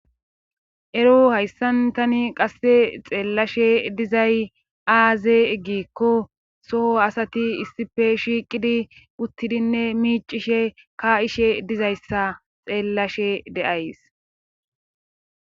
ero hayssan tani qasse xeellashe dizay aaze eggikko soho asati issife shiiqidi uttidinne miicishe ka7ishe dizayssa xeellashe deays